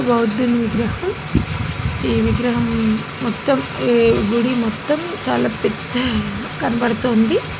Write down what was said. బౌద్ధుని విగ్రహం ఈ విగ్రహం మొత్తం ఈ గుడి మొత్తం చాలా పెద్దగా కనబడుతుంది.